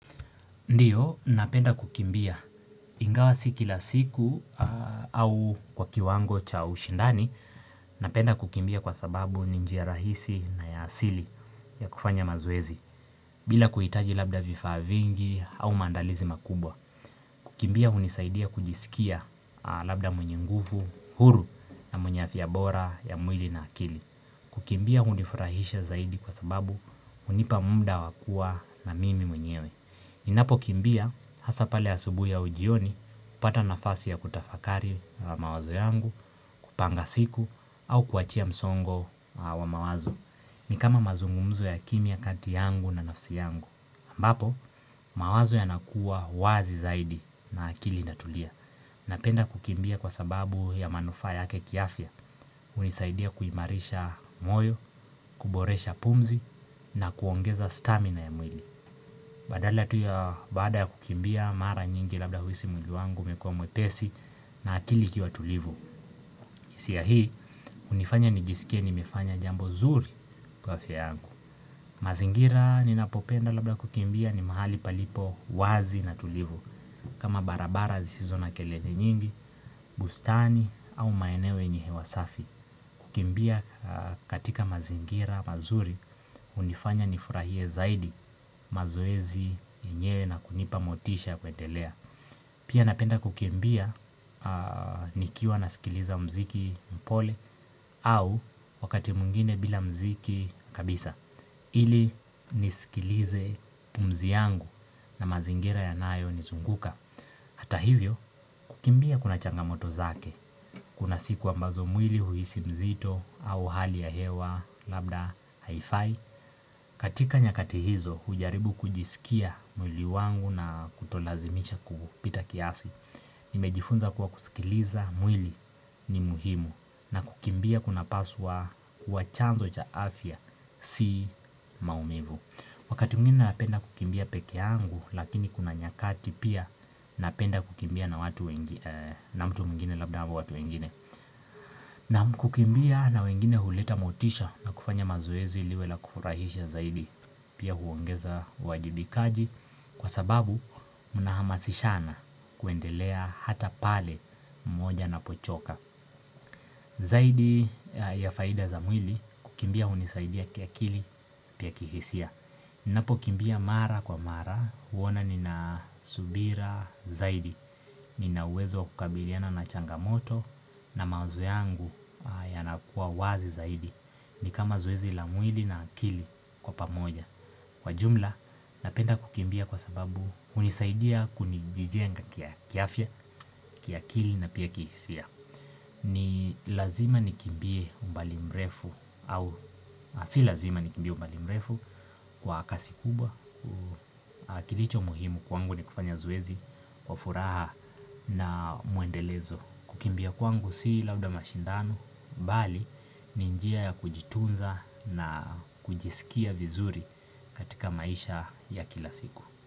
Ndiyo, napenda kukimbia. Ingawa sikila siku au kwa kiwango cha ushindani, napenda kukimbia kwa sababu ni njia rahisi na ya asili ya kufanya mazoezi. Bila kuitaji labda vifaa vingi au maandalizi makubwa. Kukimbia unisaidia kujisikia labda mwenye nguvu, huru na mwenye afya bora ya mwili na akili. Kukimbia hunifurahisha zaidi kwa sababu hunipa muda wakua na mimi mwenyewe. Ninapo kimbia hasa pale asubui au jioni, hupata nafasi ya kutafakari mawazo yangu, kupanga siku, au kuachia msongo wa mawazo. Ni kama mazungumzo ya kimya kati yangu na nafsi yangu. Ambapo, mawazo yanakuwa wazi zaidi na akili natulia. Napenda kukimbia kwa sababu ya manufaa yake kiafya, hunisaidia kuimarisha moyo, kuboresha pumzi na kuongeza stamina ya mwili. Badala tuya bada ya kukimbia mara nyingi labda huisi mwilu wangu umekuwa mwepesi na akili ikiwa tulivu hisia hii unifanya nijisikia nimefanya jambo zuri kwa afya yangu mazingira ninapopenda labda kukimbia ni mahali palipo wazi na tulivu kama barabara zisizo na kelele nyingi, bustani au maeneo yenye hewa safi kukimbia katika mazingira mazuri hunifanya nifurahie zaidi mazoezi yenyewe na kunipamotisha kuendelea Pia napenda kukimbia nikiwa na sikiliza mziki mpole au wakati mwingine bila mziki kabisa ili nisikilize pumzi yangu na mazingira yanayo nizunguka Hata hivyo, kukimbia kuna changamoto zake, kuna siku ambazo mwili huisi mzito au hali ya hewa, labda, haifai katika nyakati hizo, hujaribu kujisikia mwili wangu na kutolazimisha kupita kiasi Nimejifunza kuwa kusikiliza mwili ni muhimu na kukimbia kuna paswa kuwa chanzo cha afya, si maumivu Wakati mwingine napenda kukimbia peke yangu lakini kuna nyakati pia napenda kukimbia na mtu mwingine labda ama watu wengine na kukimbia na wengine huleta motisha na kufanya mazoezi liwe la kufurahisha zaidi pia huongeza uwajibikaji Kwa sababu unahamasishana kuendelea hata pale mmoja anapochoka Zaidi ya faida za mwili kukimbia hunisaidia kiakili pia kihisia Napo kimbia mara kwa mara, huona nina subira zaidi, ninauwezo kukabiliana na changamoto na mawazo yangu yanakuwa wazi zaidi, ni kama zoezi la mwili na akili kwa pamoja. Kwa jumla, napenda kukimbia kwa sababu hunisaidia kuni jijenga ki kiafya, kiakili na pia kihisia. Ni lazima nikimbie umbali mrefu au, si lazima nikimbie umbali mrefu kwa kasi kubwa, kilicho muhimu kwangu ni kufanya zoezi, wa furaha na mwendelezo. Kukimbia kwangu sii labda mashindano, bali ni njia ya kujitunza na kujisikia vizuri katika maisha ya kila siku.